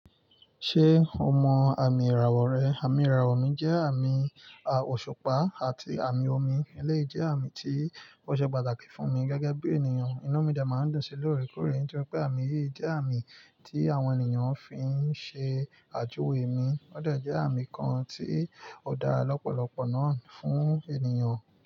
Ṣé o mọ àmì ìràwọ̀ rẹ? Àmì ìràwọ̀ mi jẹ́ àmì òṣùpá àti àmì omi. Eléyìí jẹ́ àmì tí ó ṣe pàtàkì fún mi gẹ́gẹ́ bí ènìyàn. Inú mi dé máa ń dùn sí ìkórè tí pé àmì yìí jẹ́ àmì tí àwọn ènìyàn fi ń ṣe àjòwé mi. Ó dé jẹ́ àmì kan tí ò dára lọ́pọ̀lọpọ̀ náà fún ènìyàn.